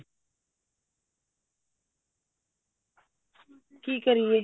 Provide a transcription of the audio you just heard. ਕੀ ਕਰੀਏ